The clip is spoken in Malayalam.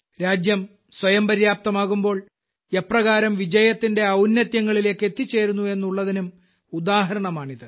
രാജ്യം സ്വയം പര്യാപ്തമാകുമ്പോൾ എപ്രകാരം വിജയത്തിന്റെ ഔന്നത്യങ്ങളിലേയ്ക്കെത്തിച്ചേരുന്നു എന്നുള്ളതിനും ഉദാഹരണമാണിത്